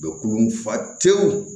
Bɛ kulu fa tewu